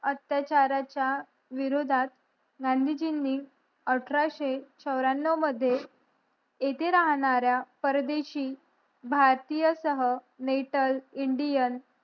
अत्याचाराचा विरोधात गांधीजींनी अठराशे चावऱ्यानव मध्ये इथे राहणाऱ्या परदेशी भारतीय सह नेटल इंडियन